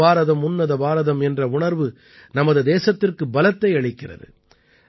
ஒரே பாரதம் உன்னத பாரதம் என்ற உணர்வு நமது தேசத்திற்கு பலத்தை அளிக்கிறது